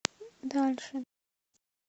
дальше